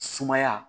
Sumaya